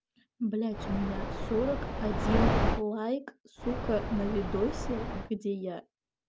блять у меня сорок один лайк сука на видосе где я